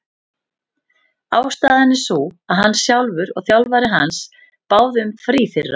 Ástæðan er sú að hann sjálfur og þjálfari hans báðu um frí fyrir hann.